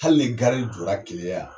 Hali ni jɔra keleya yan